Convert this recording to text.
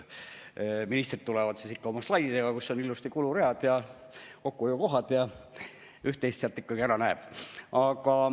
Ministrid tulevad ikka oma slaididega, kus on ilusti kuluread ja kokkuhoiukohad, üht-teist sealt ikkagi ära näeb.